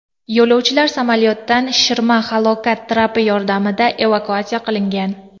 Yo‘lovchilar samolyotdan shishirma halokat trapi yordamida evakuatsiya qilingan.